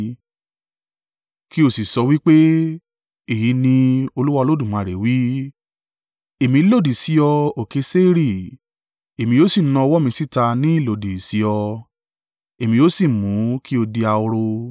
kí o sì sọ wí pé, ‘Èyí ni Olúwa Olódùmarè wí: Èmí lòdì sí ọ, òkè Seiri, Èmi yóò sì na ọwọ́ mi síta ní ìlòdì sí ọ, èmi yóò sì mú kí ó di ahoro.